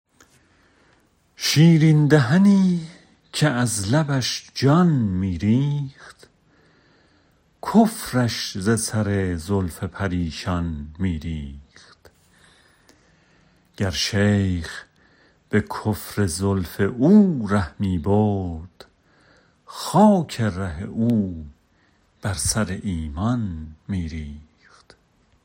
شیرین دهنی که از لبش جان می ریخت کفرش ز سر زلف پریشان می ریخت گر شیخ به کفر زلف او ره می برد خاک ره او بر سر ایمان می ریخت